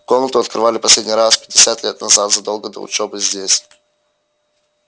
комнату открывали последний раз пятьдесят лет назад задолго до его учёбы здесь